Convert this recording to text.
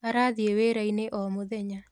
Arathiĩ wĩra-inĩ o mũthenya